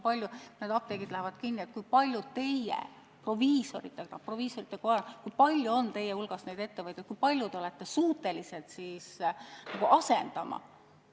Ma küsisin, kui palju on proviisorite kojas ettevõtjaid ja kui paljusid apteeke nad on suutelised asendama.